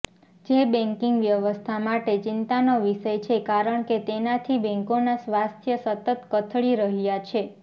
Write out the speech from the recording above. જે બેકીંગ વ્યવસ્થા માટે ચિંતાનો વિષય છે કારણકે તેનાથી બેંકોના સ્વાસ્થ્ય સતત કથળી રહ્યા છે